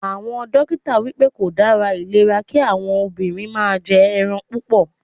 Àwọn dókítà wípé kò dára ìlera kí àwọn obìnrin máa jẹ ẹran púpọ̀.